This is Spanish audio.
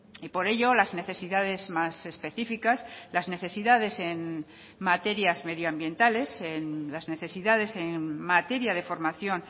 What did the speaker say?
y por ello las necesidades más específicas las necesidades en materias medioambientales en las necesidades en materia de formación